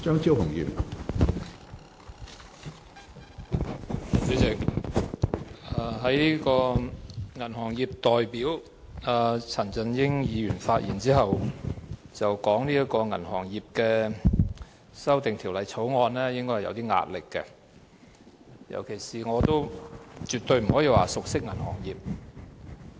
主席，銀行業代表陳振英議員在其發言內，指出討論《2017年銀行業條例草案》應該會感到有點壓力，而我更對銀行業完全不熟悉。